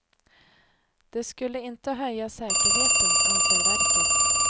Det skulle inte höja säkerheten, anser verket.